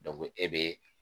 e be